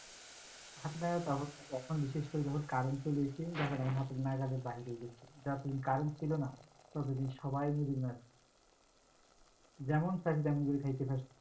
আপনার তখন এখন বিশেষ করে যখন current চলে এসছে তখন হাতের নাগালের নাগালের বাহিরে গেছে, যখন current ছিলো না, ততদিন সবাই নদীর মাছ যেমন চাইছ তেমন করে খাইতে পারছে,